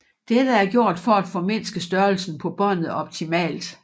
Dette er gjort for at formindske størrelsen på båndet optimalt